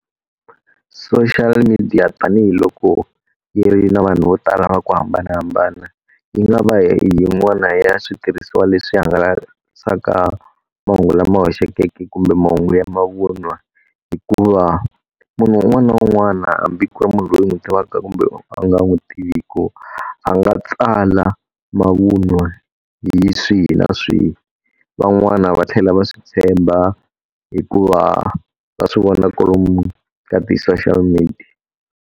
Social media tanihiloko yi ri na vanhu vo tala va ku hambanahambana, yi nga va yin'wana ya switirhisiwa leswi hangalasaka mahungu lama hoxeke kumbe mahungu ya mavun'wa. Hikuva munhu un'wana na un'wana hambi ku ri munhu loyi ndzi n'wi tivaka kumbe u nga n'wi tiviku, a nga tsala mavun'wa hi swihi na swihi. Van'wana va tlhela va swi tshemba hikuva va swi vona kwalomu ka ti-social media.